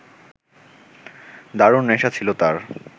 দারুণ নেশা ছিল তাঁর